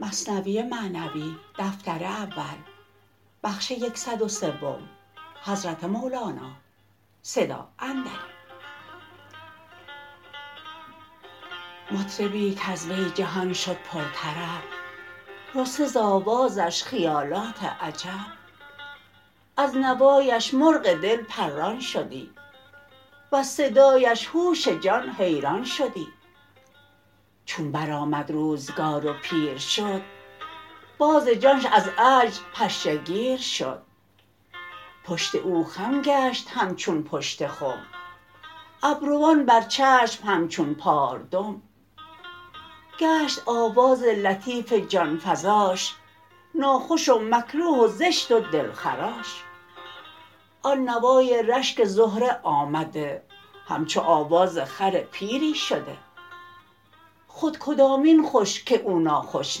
مطربی کز وی جهان شد پر طرب رسته ز آوازش خیالات عجب از نوایش مرغ دل پران شدی وز صدایش هوش جان حیران شدی چون برآمد روزگار و پیر شد باز جانش از عجز پشه گیر شد پشت او خم گشت همچون پشت خم ابروان بر چشم همچون پالدم گشت آواز لطیف جان فزاش زشت و نزد کس نیرزیدی به لاش آن نوای رشک زهره آمده همچو آواز خر پیری شده خود کدامین خوش که او ناخوش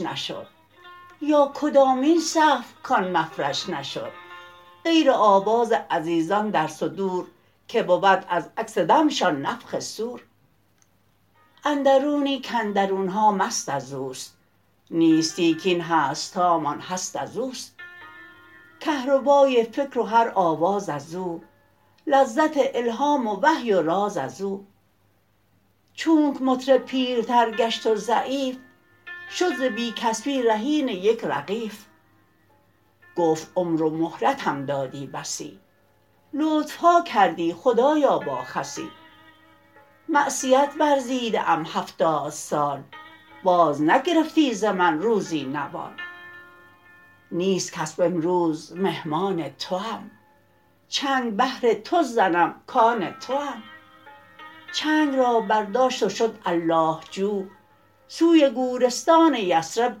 نشد یا کدامین سقف کان مفرش نشد غیر آواز عزیزان در صدور که بود از عکس دمشان نفخ صور اندرونی کاندرونها مست از اوست نیستی کین هستهامان هست از اوست کهربای فکر و هر آواز او لذت الهام و وحی و راز او چونک مطرب پیرتر گشت و ضعیف شد ز بی کسبی رهین یک رغیف گفت عمر و مهلتم دادی بسی لطفها کردی خدایا با خسی معصیت ورزیده ام هفتاد سال باز نگرفتی ز من روزی نوال نیست کسب امروز مهمان توم چنگ بهر تو زنم کان توم چنگ را برداشت و شد الله جو سوی گورستان یثرب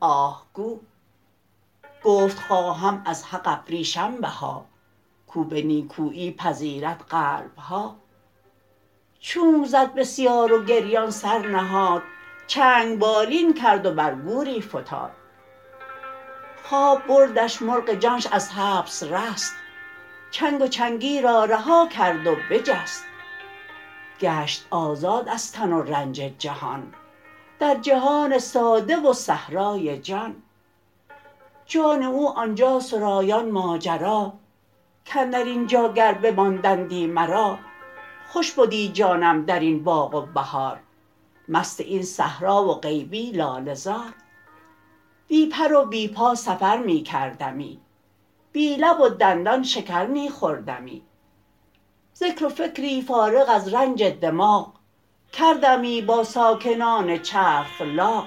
آه گو گفت خواهم از حق ابریشم بها کو به نیکویی پذیرد قلب ها چونک زد بسیار و گریان سر نهاد چنگ بالین کرد و بر گوری فتاد خواب بردش مرغ جانش از حبس رست چنگ و چنگی را رها کرد و بجست گشت آزاد از تن و رنج جهان در جهان ساده و صحرای جان جان او آنجا سرایان ماجرا کاندر اینجا گر بماندندی مرا خوش بدی جانم درین باغ و بهار مست این صحرا و غیبی لاله زار بی پر و بی پا سفر می کردمی بی لب و دندان شکر می خوردمی ذکر و فکری فارغ از رنج دماغ کردمی با ساکنان چرخ لاغ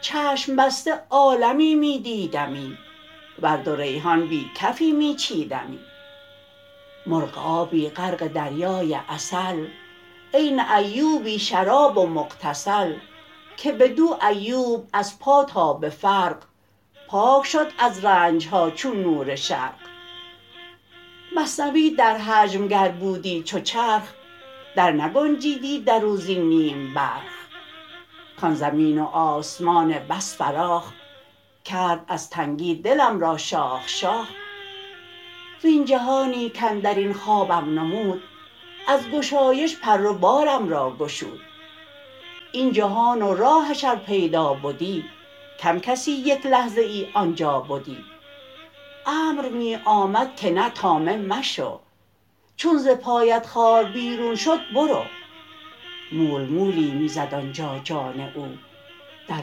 چشم بسته عالمی می دیدمی ورد و ریحان بی کفی می چیدمی مرغ آبی غرق دریای عسل عین ایوبی شراب و مغتسل که بدو ایوب از پا تا به فرق پاک شد از رنجها چون نور شرق مثنوی در حجم گر بودی چو چرخ در نگنجیدی درو زین نیم برخ کان زمین و آسمان بس فراخ کرد از تنگی دلم را شاخ شاخ وین جهانی کاندرین خوابم نمود از گشایش پر و بالم را گشود این جهان و راهش ار پیدا بدی کم کسی یک لحظه ای آنجا بدی امر می آمد که نه طامع مشو چون ز پایت خار بیرون شد برو مول مولی می زد آنجا جان او در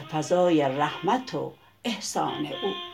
فضای رحمت و احسان او